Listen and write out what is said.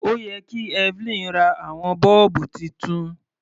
Ó yẹ kí Evelyn ra àwọn bọ́ọ̀bù titun.